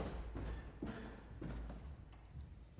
så